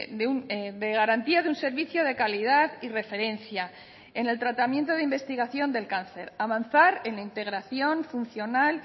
de garantía de un servicio de calidad y referencia en el tratamiento de investigación del cáncer avanzar en la integración funcional